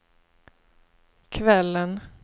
kvällen